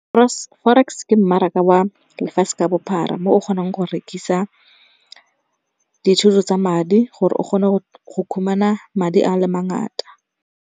Forex ke mmaraka wa lefatshe ka bophara, mo o kgonang go rekisa ditshwetso tsa madi gore o kgone go khumana madi a le mangata.